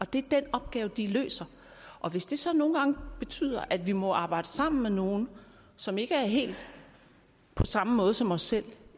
det er den opgave de løser og hvis det så nogle gange betyder at vi må arbejde sammen med nogle som ikke er helt på samme måde som os selv